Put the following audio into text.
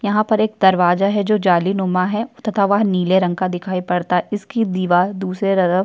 यहाँ पर एक दरवाजा है जो जालीनुमा है तथा वह नीले रंग का दिखाई पड़ता इसकी दीवार दूसरे तरफ --